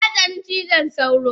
Natsani cizon sauro